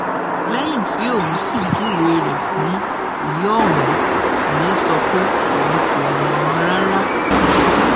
lẹyìn tí òun sì júwe rẹ fún ìyá òun ìyẹn sọ pé òun kò mọ ọn rárá